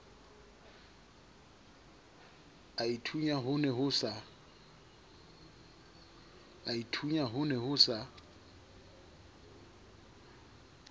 aithunya ho ne ho sa